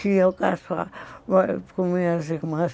que eu com minhas irmãs.